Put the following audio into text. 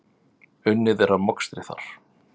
Unnið er að mokstri þar.